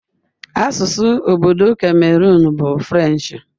Asụsụ obodo Cameroon bụ French.